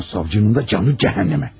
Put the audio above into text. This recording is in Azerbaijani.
O savcının da canı cəhənnəmə.